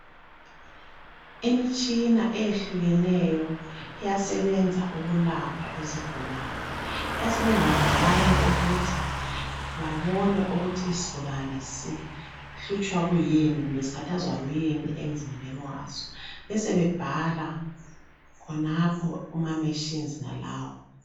Imitshina eyehlukeneyo iyasebenza ukulapha izigulane iyasebenza njalo ukuthi babone ukuthi isigulane sihlutshwa kuyini, kumbe sikhathazwa kuyini emzimbeni waso besebebhala khonapho kumaMachines enalawo.